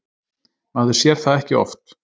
Maður sér það ekki oft.